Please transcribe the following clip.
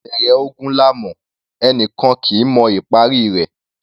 Ìbẹ̀rẹ̀ ogun là ńmọ̀; ẹni kan kì í mọ ìparí i rẹ̀.